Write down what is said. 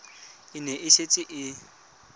e ne e setse e